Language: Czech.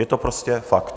Je to prostě fakt.